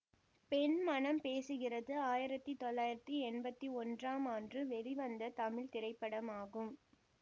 பெண் மனம் பேசுகிறது ஆயிரத்தி தொள்ளாயிரத்தி எம்பத்தி ஒன்றாம் ஆண்டு வெளிவந்த தமிழ் திரைப்படமாகும்